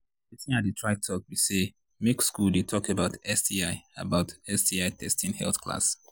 watin i they try talk be say make school they talk about sti about sti testing health class